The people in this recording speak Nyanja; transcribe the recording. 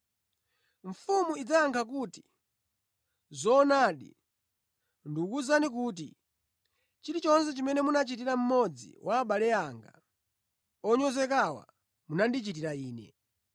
“Mfumu idzayankha kuti, ‘Zoonadi, ndikuwuzani kuti chilichonse chimene munachitira mmodzi wa abale anga onyozekawa munandichitira Ine.’